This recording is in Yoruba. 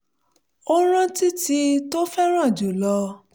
ó rántí tíì tó fẹ́ràn jù lọ